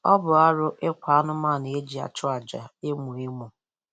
Ọ bụ arụ ịkwa anụmanụ e ji achụ aja emo emo